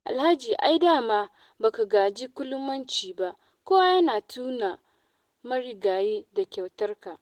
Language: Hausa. Alhaji ai da ma ba ka gaji ƙulumanci ba, kowa yana tuna marigayi da kyautarka